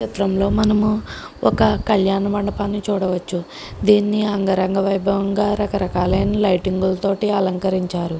ఈ చిత్రంలో మనము ఒక కళ్యాణ మండపాన్ని చూడవచ్చు దీన్ని అంగరంగ వైభవంగా రకరకాలైన లైటింగ్ తోటి అలంకరించారు.